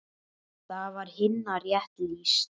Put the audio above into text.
Þar var Hinna rétt lýst.